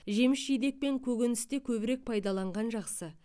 жеміс жидек пен көкөністе көбірек пайдаланған жақсы